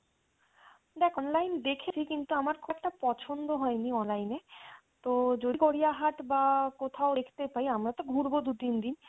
দেখ online দেখেছি কিন্তু আমার খুব একটা পছন্দ হয়নি online এ তো যদি গড়িয়াহাট বা কোথাও দেখতে পাই আমরা তো ঘুরবো দু তিন দিন